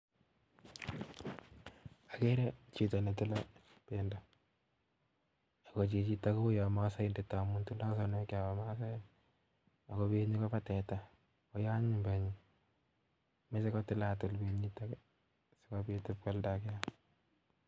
Akere chito nee tilee bendo ak ko chichito kounyo masaindek amuu tindoi sonaek chobo masaek ak kobenyii Kobo teta oyee anyiny benyii mechei kotilatil benyitok si kobitu ib koalnda